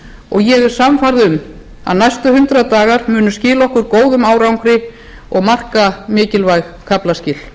og ég er sannfærð um að næstu hundrað dagar munu skila okkur góðum árangri og marka mikilvæg kaflaskil